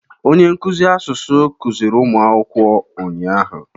Onye nkụzi asụsụ kuziri ụmụ akwụkwọ ụnyahụ.